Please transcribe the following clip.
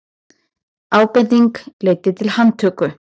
Ábending leiddi til handtöku